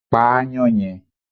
Pa aáyán yẹn!